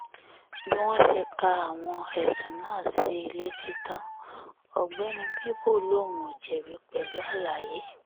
bí wọ́n ṣe ka àwọn ẹ̀sùn náà sí i létí tán ọ̀gbẹ́ni bíbù lòun ò jẹ̀bi pẹ̀lú àlàyé